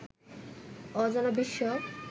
অজানা বিশ্ব